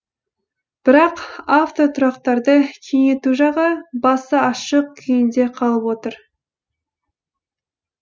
бірақ автотұрақтарды кеңейту жағы басы ашық күйінде қалып отыр